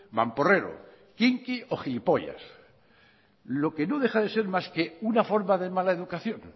mamporrero quinqui o gilipollas lo que no deja de ser más que una forma de mala educación